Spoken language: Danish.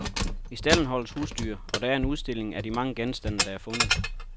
I stalden holdes husdyr, og der er en udstilling af de mange genstande, der er fundet.